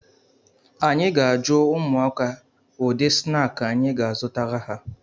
Anyị ga-ajụ ụmụaka ụdị snaakị anyị ga-azụtara ha